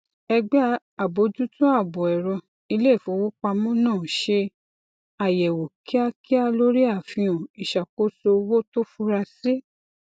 ẹgbẹ àbójútó ààbò ẹrọ ilé ìfowopamọ náà ṣe àyẹwò kíákíá lórí àfihàn ìṣàkóso owó tó fura sí